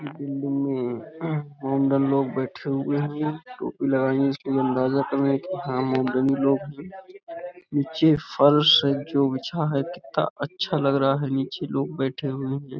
अंदर लोग बैठे हुए हैं। टोपी लगाई है। इसके लिए अंदाजा कर है कि लोग हैं। नीचे फर्श है। जो बिछा है कितना अच्छा लग रहा है। नीचे लोग बैठे हुए हैं।